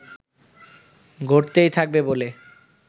ঘটতেই থাকবে বলে